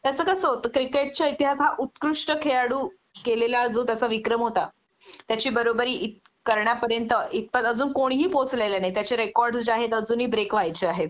त्याच कस होतं क्रिकेटच्या इतिहास हा उत्कृष्ट खेळाडू केलेला जो त्याचा विक्रम होता त्याची बरोबरी इत करण्यापर्यंत इतपत अजून कोणीही पोहोचलेले नाही त्याचे रेकॉर्डस् जे आहेत अजूनही ब्रेक व्हायचे आहेत